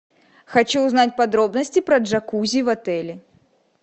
хочу узнать подробности про джакузи в отеле